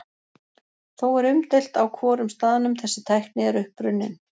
Þó er umdeilt á hvorum staðnum þessi tækni er upprunnin.